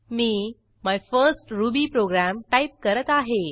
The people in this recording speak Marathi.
me my first Ruby program type करत आहे